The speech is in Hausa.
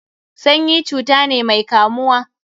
Sanyi cuta ne mai kamuwa.